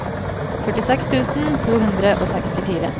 førtiseks tusen to hundre og sekstifire